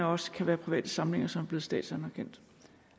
også kan være private samlinger som er blevet statsanerkendt